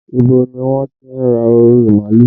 Ibo ni wọ́n ti ra orí màálù?